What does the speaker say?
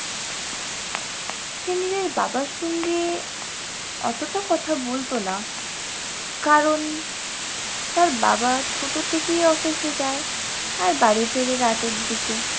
সে নিজের বাবার সঙ্গে অতটা কথা বলতো না কারণ তার বাবা ছোট থেকেই office এ যায়, আর বাড়ি ফেরে রাতের দিকে।